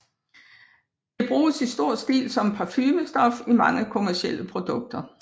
Det bruges i stor stil som parfumestof i mange kommercielle produkter